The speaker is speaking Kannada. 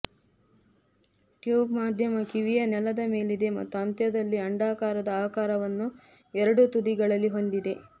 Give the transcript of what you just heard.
ಟ್ಯೂಬ್ ಮಧ್ಯಮ ಕಿವಿಯ ನೆಲದ ಮೇಲಿದೆ ಮತ್ತು ಅಂತ್ಯದಲ್ಲಿ ಅಂಡಾಕಾರದ ಆಕಾರವನ್ನು ಎರಡೂ ತುದಿಗಳಲ್ಲಿ ಹೊಂದಿದೆ